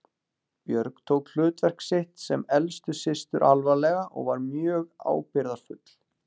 Björg tók hlutverk sitt sem elstu systur alvarlega og var mjög ábyrgðarfull.